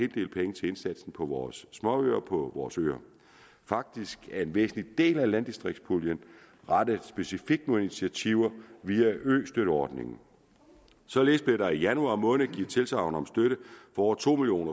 del penge til indsatsen på vores småøer på vores øer faktisk er en væsentlig del af landdistriktspuljen rettet specifikt mod initiativer via østøtteordningen således blev der i januar måned givet tilsagn om støtte for over to million